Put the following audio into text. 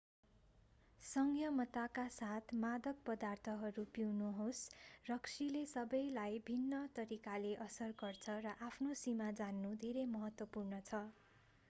संयमताका साथ मादक पदार्थहरू पिउनुहोस् रक्सीले सबैलाई भिन्न तरिकाले असर गर्छ र आफ्नो सीमा जान्नु धेरै महत्त्वपूर्ण हुन्छ